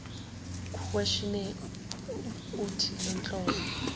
questionnaire uuthi lenhlobo